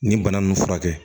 Nin bana ninnu furakɛ